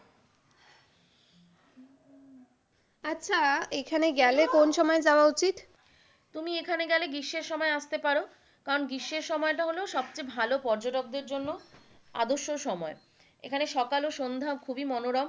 আচ্ছা এখানে গেলে কোন সময়ে যাওয়া উচিত? তুমি এখানে গেলে গ্রীষ্মের সময় আসতে পারো কারণ গ্রীষ্মের সময়টা হলো সবচেয়ে ভালো পর্যটকদের জন্য আদর্শ সময় এখানে সকাল ও সন্ধ্যা খুবই মনোরম,